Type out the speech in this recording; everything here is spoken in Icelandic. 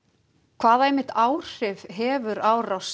hvaða áhrif hefur árás